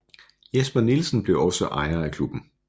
Jesper Nielsen blev også ejer af klubben